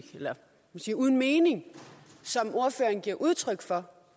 sin uden mening som ordføreren giver udtryk for